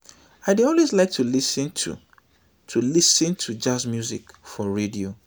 i dey always like to lis ten to to lis ten to jazz music for radio